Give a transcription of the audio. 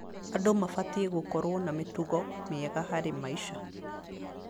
Andũ mabatiĩ gũkorwo na mĩtugo mĩega harĩ maica.